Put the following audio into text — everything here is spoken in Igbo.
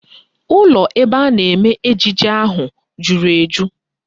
Ụlọ ebe a na-eme ejije ahụ jụrụ eju